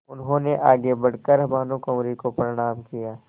उन्होंने आगे बढ़ कर भानुकुँवरि को प्रणाम किया